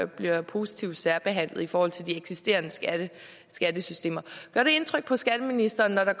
bliver positivt særbehandlet i forhold til de eksisterende skattesystemer gør det indtryk på skatteministeren når